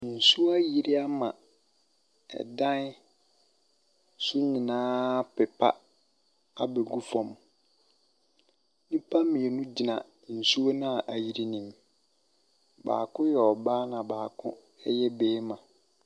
Nsuo ayere ama ɛdan so nyinaa apipa abɛ gu fam. Nnipa mmienu gyina nsuo na ayere no mu. Baako yɛ ɔbaa na baako yɛ ɔbɛrima.